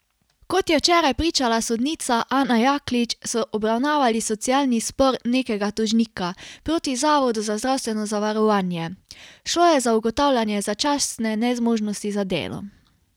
Kot je včeraj pričala sodnica Ana Jaklič, so obravnavali socialni spor nekega tožnika proti zavodu za zdravstveno zavarovanje, šlo je za ugotavljanje začasne nezmožnosti za delo.